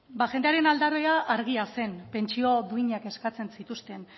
ba jendearen argia zen pentsio duinak eskatzen zituzten